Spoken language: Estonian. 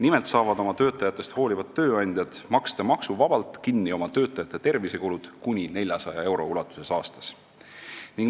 Nimelt saavad oma töötajatest hoolivad tööandjad maksta maksuvabalt kinni oma töötajate tervisekulud kuni 400 euro ulatuses aastas.